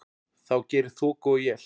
þó geri þoku og él.